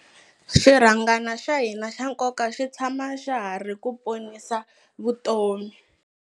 Xirhangana xa hina xa nkoka xi tshama xa ha ri ku ponisa vutomi.